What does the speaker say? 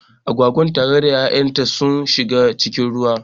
Agwagar tare da ya'yan sun shiga cikin ruwan